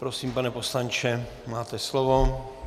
Prosím, pane poslanče, máte slovo.